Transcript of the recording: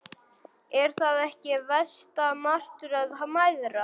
Er það ekki versta martröð mæðra?